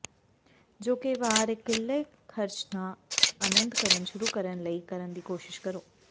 ਜੋ ਕਿ ਵਾਰ ਇਕੱਲੇ ਖਰਚ ਦਾ ਆਨੰਦ ਕਰਨ ਸ਼ੁਰੂ ਕਰਨ ਲਈ ਕਰਨ ਦੀ ਕੋਸ਼ਿਸ਼ ਕਰੋ